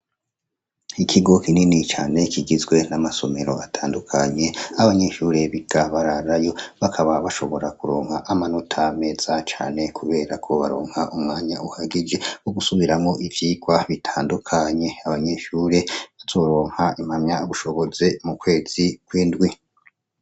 Ikigo kinini cane kigizwe n'amasomero atandukanye ah'abanyeshure biga bararayo bakaba bashobora kuronka amanota meza cane kubera ko baronka umwanya uhagije wo gusubiramwo ivyigwa bitandukanye. Abanyeshure bazoronka impamyabushobozi mu kwezi kw'indwi.